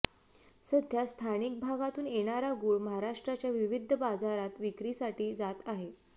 सध्या स्थानिक भागातून येणारा गूळ महाराष्ट्राच्या विविध बाजारांत विक्रीसाठी जात आहे